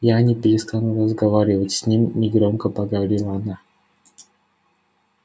я не перестану разговаривать с ним негромко проговорила она